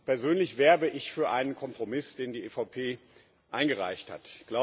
Persönlich werbe ich für einen Kompromiss, den die EVP eingereicht hat.